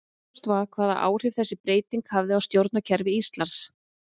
Óljóst var hvaða áhrif þessi breyting hefði á stjórnkerfi Íslands.